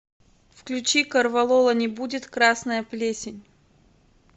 включи корвалола не будет красная плесень